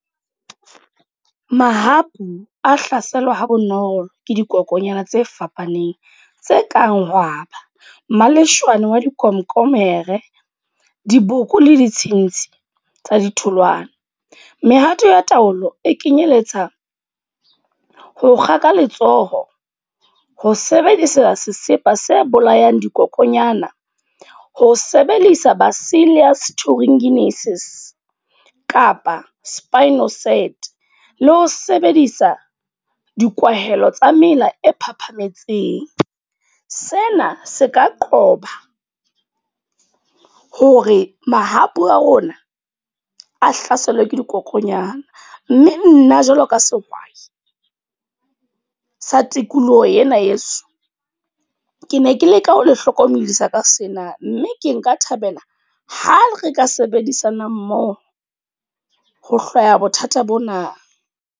Mahapu a hlaselwa ha bonolo, ke dikokonyana tse fapaneng. Tse kang Hwaba, Maleshwane wa dikomkomere, diboko le ditshintshi tsa ditholwana. Mehato ya taolo e kenyeletsa ho kga ka letsoho, ho sebedisa sesepa se bolayang dikokonyana, ho sebedisa basili ya kapa spinoset le ho sebedisa dikwahela tsa mela e phaphametseng. Sena se ka qoba hore mahapu a rona a hlaselwa ke dikokonyana. Mme nna jwalo ka sehwai sa tikoloho yena ye so, ke ne ke leka ho le hlokomedisa ka sena. Mme ke nka thabela ha re ka sebedisana mmoho ho hlwaya bothata bona.